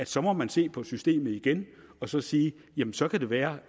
så må man se på systemet igen og så sige jamen så kan det være